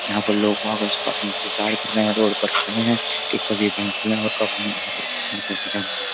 यहाँ पर लोग उसका इंतजार कर रहे हैं। रोड पर खड़े हैं कि कब ये बैंक खुले और कब हम यहाँ पर ये पैसे जमा करें।